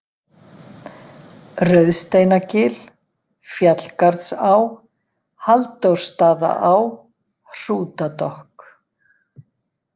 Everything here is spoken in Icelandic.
Rauðsteinagil, Fjallgarðsá, Halldórsstaðaá, Hrútadokk